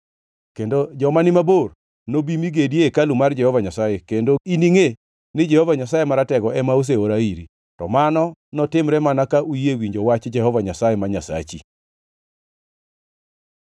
Kendo joma ni mabor nobi mi gedi e hekalu mar Jehova Nyasaye, kendo iningʼe ni Jehova Nyasaye Maratego ema oseora iri. To mano notimre mana ka uyie winjo wach Jehova Nyasaye ma Nyasachi.”